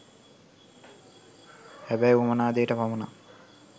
හැබැයි උවමනා දේට පමනක්